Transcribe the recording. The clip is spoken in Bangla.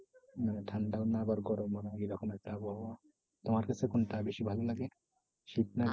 উম ঠান্ডাও না আবার গরম ও না এরকম একটা আবহাওয়া। তোমার কাছে কোনটা বেশি ভালো লাগে শীত না গরম?